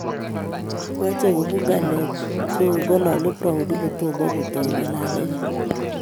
Mache kobun ngalek chebigongalali Brown kotomo kotoi ngalalenyi